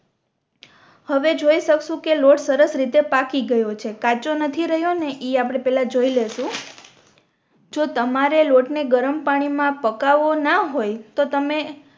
હવે જોઈ શકશો કે લોટ સરસ રીતે પાકી ગયો છે કાચો નથી રેહયો ને ઈ આપણે જોઈ લેશુ જો તમારે લોટ ને ગરમ પાણી મા પકાવો ના હોય તો તમે